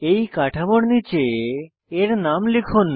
এই কাঠামোর নীচে এর নাম লিখুন